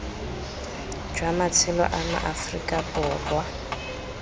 jwa matshelo a maaforika borwa